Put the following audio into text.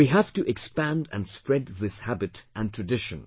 We have to expand and spread this habit and tradition